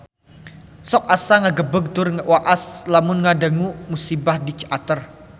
Sok asa ngagebeg tur waas lamun ngadangu musibah di Ciater